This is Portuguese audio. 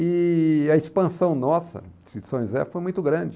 E a expansão nossa de São José foi muito grande.